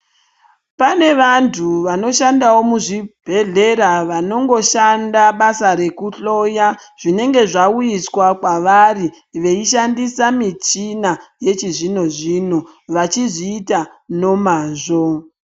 Pane vantu vanoshandawo muzvibhehlera vanongoshanda basa rekuhloya uye zvinenge zvauyiswa kwavari kushandisa muchina yechizvinozvino vachzviita nemazvo